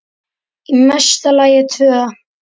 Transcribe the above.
Í mesta lagi tvö.